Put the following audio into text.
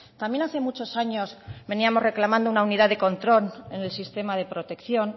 también hace muchos años veníamos reclamando una unidad de control en el sistema de protección